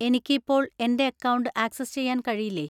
എനിക്ക് ഇപ്പോൾ എന്‍റെ അക്കൗണ്ട് ആക്സസ് ചെയ്യാൻ കഴിയില്ലേ?